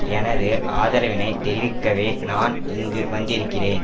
எனது ஆதரவினைத் தெரிவிக்கவே நான் இங்கு வந்திருக்கிறேன்